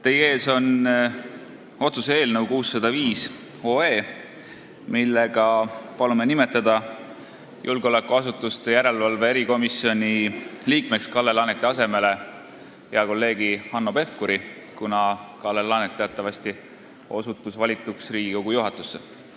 Teie ees on otsuse eelnõu 605, millega palume nimetada julgeolekuasutuste järelevalve erikomisjoni liikmeks Kalle Laaneti asemele hea kolleegi Hanno Pevkuri, kuna Kalle Laanet osutus teatavasti valituks Riigikogu juhatusse.